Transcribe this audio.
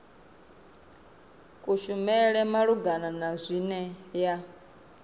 kushumele malugana na zwine ya